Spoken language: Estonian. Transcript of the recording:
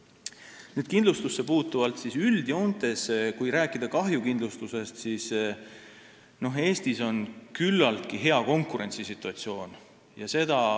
Mis puutub kindlustusse, siis üldjoontes, kui rääkida kahjukindlustusest, on Eestis küllaltki hea konkurentsisituatsioon.